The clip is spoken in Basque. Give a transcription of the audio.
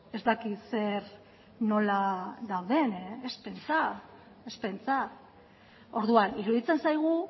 ez dakit zer nola dauden ez pentsa ez pentsa orduan iruditzen zaigu